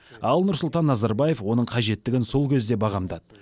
ал нұрсұлтан назарбаев оның қажеттігін сол кезде бағамдады